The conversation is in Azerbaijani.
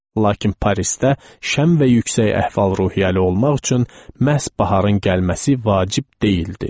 Lakin Parisdə şən və yüksək əhval-ruhiyyəli olmaq üçün məhz baharın gəlməsi vacib deyildi.